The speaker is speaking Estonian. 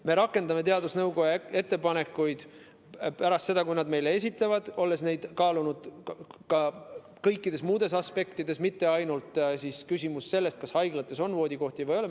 Me rakendame teadusnõukoja ettepanekuid pärast seda, kui nad neid meile esitavad, olles neid kaalunud ka kõikides muudes aspektides, mitte ainult seda, kas haiglates on voodikohti või ei ole.